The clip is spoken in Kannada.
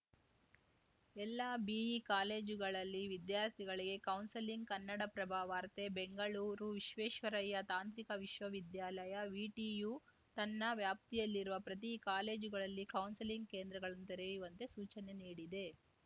ಎಲ್ಲ ಬಿಇ ಕಾಲೇಜುಗಳಲ್ಲಿ ವಿದ್ಯಾರ್ಥಿಗಳಿಗೆ ಕೌನ್ಸೆಲಿಂಗ್‌ ಕನ್ನಡಪ್ರಭ ವಾರ್ತೆ ಬೆಂಗಳೂರು ವಿಶ್ವೇಶ್ವರಯ್ಯ ತಾಂತ್ರಿಕ ವಿಶ್ವವಿದ್ಯಾಲಯ ವಿಟಿಯು ತನ್ನ ವ್ಯಾಪ್ತಿಯಲ್ಲಿರುವ ಪ್ರತಿ ಕಾಲೇಜುಗಳಲ್ಲಿ ಕೌನ್ಸೆಲಿಂಗ್‌ ಕೇಂದ್ರಗಳನ್ನು ತೆರೆಯುವಂತೆ ಸೂಚನೆ ನೀಡಿದೆ